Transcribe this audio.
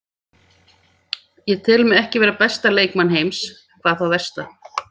Ég tel mig ekki vera besta leikmann heims, hvað þá versta.